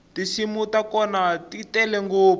tinsimu ta kona ti tele ngopfu